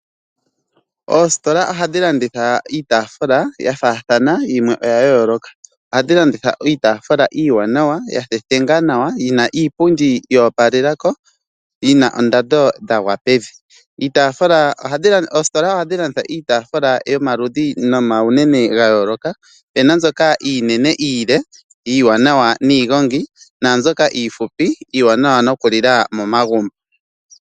Oositola ohadhi landitha iitaafula ya faathana, yimwe oya yooloka. Ohadhi landitha iitaafula iiwaanawa, ya thethenga nawa yina iipundi yo opalela ko, yina oondando dhagwa pevi. Oositola ohadhi landitha iitaafula yomaludhi nomaunene ga yooloka. Opuna mbyoka iinene, iile, iiwanawa niigongi, naambyoka iifupi, iiwanawa noku lila momagumbo.